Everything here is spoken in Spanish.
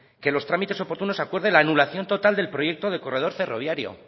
que los trámites oportunos acuerde la anulación total del proyecto de corredor ferroviario